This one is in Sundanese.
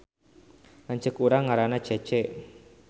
Lanceuk urang ngaranna Cece